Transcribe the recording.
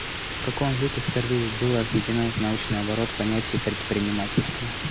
в каком веке впервые было введено в научный оборот понятие предпринимательство